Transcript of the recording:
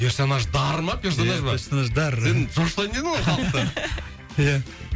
персонаждар ма персонаж ба персонаждар сен шошытайын дедің ғой халықты иә